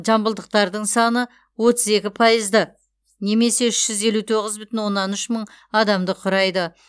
жамбылдықтардың саны отыз екі пайызды немесе үш жүз елу тоғыз бүтін оннан үш мың адамды құрайды